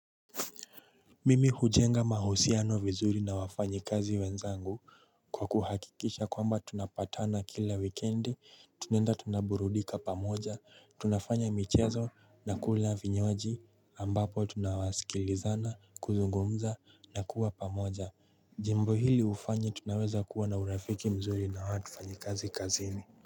Mimi hujenga mahusiano vizuri na wafanyikazi wenzangu kwa kuhakikisha kwamba tunapatana kila wikendi tunaenda tunaburudika pamoja tunafanya michezo na kula vinywaji ambapo tunawaskilizana kuzungumza na kuwa pamoja Jimbo hili hufanya tunaweza kuwa na urafiki mzuri na watu fanyikazi kazini.